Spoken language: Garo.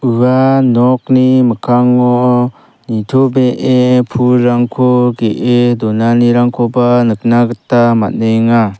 ua nokni mikkango nitobee pulrangko ge·e donanirangkoba nikna gita man·enga.